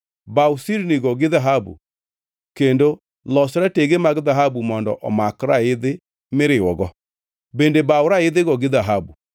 Baw sirnigo gi dhahabu kendo los ratege mag dhahabu mondo omak raidhi miriwogo. Bende baw raidhigo gi dhahabu.